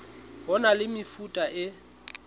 ho na le mefuta e